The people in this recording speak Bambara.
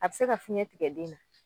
A be se ka fiɲɛ tigɛ den na .